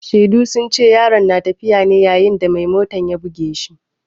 Shaidu sun ce yaron na tafiya ne yayin da mai motan ya buge shi.